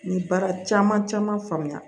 N ye baara caman caman faamuya